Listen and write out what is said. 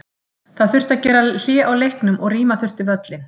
Það þurfti að gera hlé á leiknum og rýma þurfti völlinn.